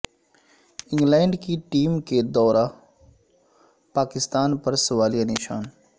England کی team کے دورہ پاکستان پر سوالیہ نشان